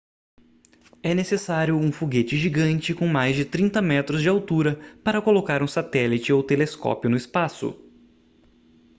é necessário um foguete gigante com mais de 30 metros de altura para colocar um satélite ou telescópio no espaço